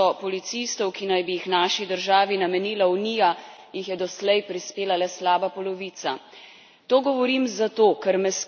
Od oktobra obljubljenih štiristo policistov, ki naj bi jih naši državi namenila Unija, jih je doslej prispela le slaba polovica.